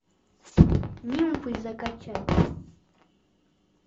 нимфы закачай